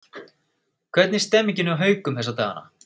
Hvernig er stemningin hjá Haukum þessa dagana?